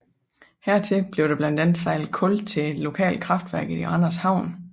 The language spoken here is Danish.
Hertil bliver der blandt andet sejlet kul til et lokalt kraftværk i Randers Havn